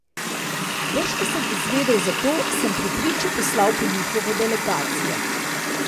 Brž ko sem izvedel za to, sem pri priči poslal po njihovo delegacijo.